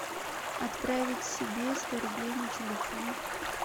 отправить себе сто рублей на телефон